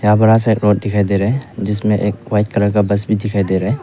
यहा बड़ा सा रोड दिखाई दे रहा है जिसमे एक व्हाइट कलर का बस भी दिखाई दे रहा है।